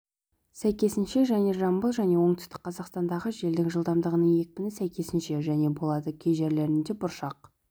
сәйкесінше және жамбыл және оңтүстік қазақстандағы желдің жылдамдығының екіпіні сәйкесінше және болады кей жерлерінде бұршақ